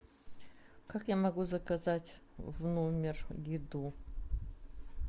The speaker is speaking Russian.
как я могу заказать в номер еду